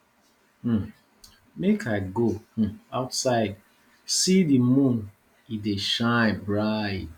um make i go um outside see di moon e dey shine bright